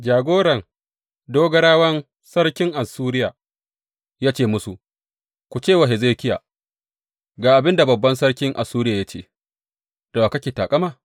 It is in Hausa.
Jagoran dogarawan sarkin Assuriya ya ce musu, Ku ce wa Hezekiya, Ga abin da babban sarkin Assuriya ya ce, da wa kake taƙama?